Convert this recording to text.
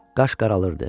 Qaş qaralırdı.